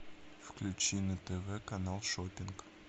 включи на тв канал шоппинг